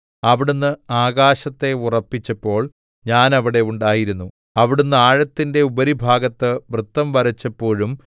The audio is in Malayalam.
അവിടുന്ന് ആകാശത്തെ ഉറപ്പിച്ചപ്പോൾ ഞാൻ അവിടെ ഉണ്ടായിരുന്നു അവിടുന്ന് ആഴത്തിന്റെ ഉപരിഭാഗത്ത് വൃത്തം വരച്ചപ്പോഴും